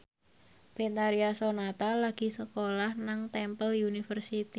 Betharia Sonata lagi sekolah nang Temple University